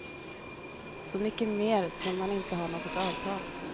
Så mycket mer som man inte har något avtal.